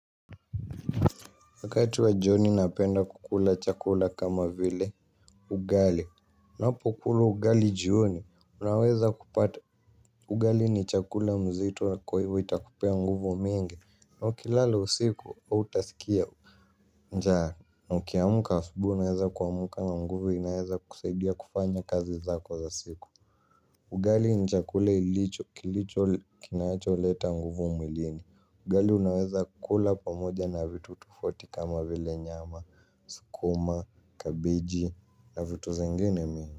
Wakati wa joni napenda kukula chakula kama vile ugali. Unapo kula ugali joni, unaweza kupata. Ugali ni chakula mzito kwa hivo itakupea nguvu mingi. Kwa hiyo ukilala usiku hautasikia njaa, na ukiamka usubuhi unaweza kua mka nguvu inaeza kusaidia kufanya kazi zako za siku. Ugali ni chakula ilicho kilicho kinaecho leta nguvu mwilini. Ugali unaweza kukula pamoja na vitu tofauti kama vile nyama. Sukuma, kabiji na vitu zingini mingi.